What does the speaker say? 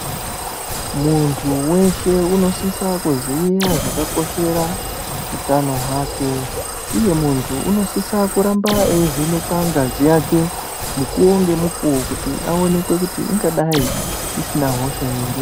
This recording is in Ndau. Muntu weshe unosisa kuziya zvakakoshera utano hwake, uye muntu unosisa kuramba eivhenekwa ngazi yake, mukuwo ngemikuwo, kuti aonekwe kuti ,ingadai isina hosha ere.